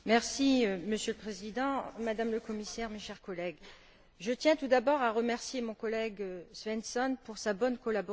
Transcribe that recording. Monsieur le Président, Madame le Commissaire, chers collègues, je tiens tout d'abord à remercier mon collègue Svensson pour sa bonne collaboration.